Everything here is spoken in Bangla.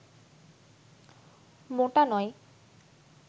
মোটা নয়